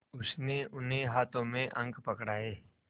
उसने उन्हें हाथों में अंक पकड़ाए